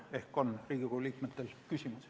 Ehk on Riigikogu liikmetel küsimusi.